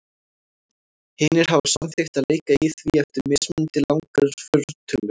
Hinir hafa samþykkt að leika í því eftir mismunandi langar fortölur.